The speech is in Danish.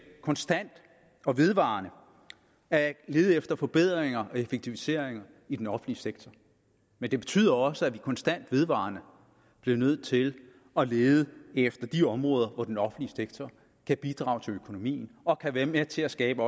konstant og vedvarende at lede efter forbedringer og effektiviseringer i den offentlige sektor men det betyder også at vi konstant og vedvarende bliver nødt til at lede efter de områder hvor den offentlige sektor kan bidrage til økonomien og også kan være med til at skabe